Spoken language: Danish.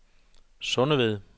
Sundeved